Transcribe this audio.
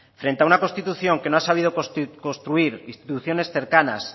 frente a una constitución que no ha sabido construir instituciones cercanas